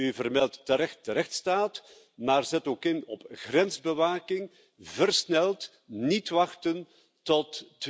U vermeldt terecht de rechtsstaat, maar zet ook in op grensbewaking, versneld, niet wachten tot